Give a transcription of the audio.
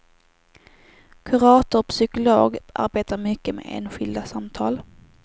Kurator och psykolog arbetar mycket med enskilda samtal.